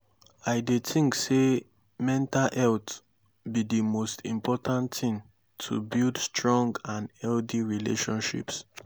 i dey think say mental health be di most important thing to build strong and healthy relationships.